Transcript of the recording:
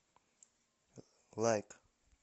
лайк